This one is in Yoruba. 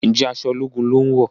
Njé aṣọ ológun lón wọ?